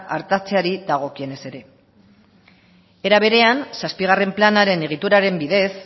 artatzeari dagokionez ere era berea zazpigarren planaren egituraren bidez